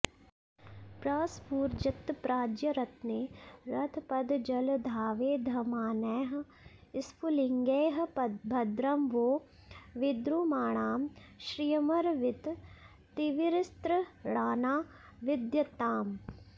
प्रस्फूर्जत्प्राज्यरत्ने रथपदजलधावेधमानैः स्फुलिङ्गैः भद्रं वो विद्रुमाणां श्रियमरविततिर्विस्तृणाना विधत्ताम्